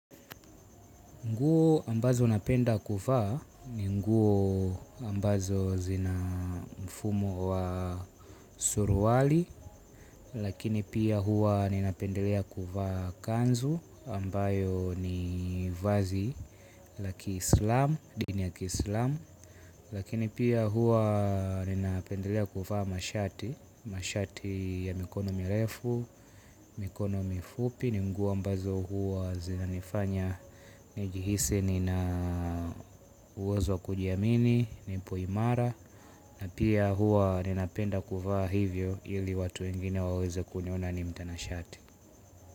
Nguo ambazo napenda kuvaa ni nguo ambazo zina mfumo wa suruali. Lakini pia huwa ninapendelea kuva kanzu ambayo ni vazi la kiislam, dini ya kislam. Lakini pia huwa ninapendelea kuva mashati, mashati ya mikono mirefu, mikono mifupi. Ni nguo mbazo huwa zinanifanya nijihisi ni na uwezo wa kujiamini. Nipo imara. Na pia huwa ninapenda kuvaa hivyo. Ili watu wengine waweze kuniona ni mtana shati.